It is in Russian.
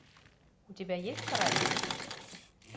у тебя есть каратель